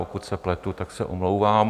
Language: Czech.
Pokud se pletu, tak se omlouvám.